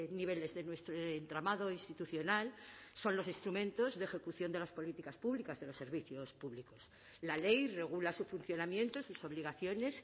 niveles de nuestro entramado institucional son los instrumentos de ejecución de las políticas públicas de los servicios públicos la ley regula su funcionamiento sus obligaciones